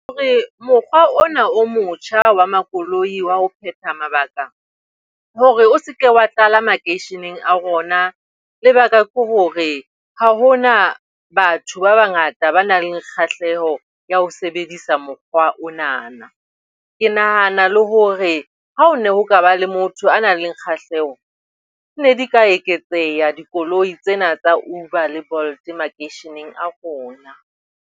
Hore mokgwa ona o motjha wa makoloi wa ho phetha mabaka hore o se ke wa tlala makeisheneng a rona, lebaka ke hore ha hona batho ba bangata ba nang le kgahleho ya ho sebedisa mokgwa o nana. Ke nahana le hore ha o ne ho kaba le motho a nang le kgahleho, ne di ka eketseha dikoloi tsena tsa Bolt le Uber makeisheneng a rona.